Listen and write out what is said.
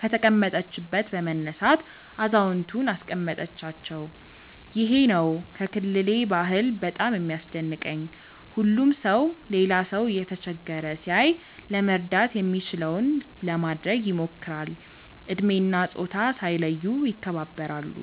ከተቀመጠችበት በመነሳት አዛውየንቱን አስቀመጠቻቸው። ይሄ ነው ከክልሌ ባህል በጣም የሚያስደንቀኝ። ሁሉም ሰው ሌላ ሰው እየተቸገረ ሲያይ ለመርዳት የሚችለውን ለማድረግ ይሞክራል። እድሜ እና ፆታ ሳይለዩ ይከባበራሉ።